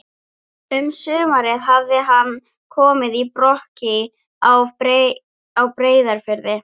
Um sumarið hafði hann komið í Brokey á Breiðafirði.